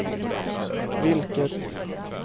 vilket